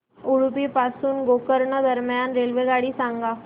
उडुपी पासून गोकर्ण दरम्यान रेल्वेगाडी सांगा